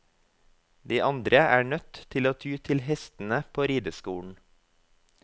De andre er nødt til å ty til hestene på rideskolen.